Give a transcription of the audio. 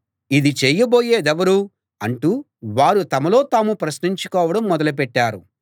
ఇది చేయబోయేదెవరో అంటూ వారు తమలో తాము ప్రశ్నించుకోవడం మొదలు పెట్టారు